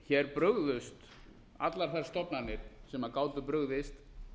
hér brugðust allar þær stofnanir sem gátu brugðist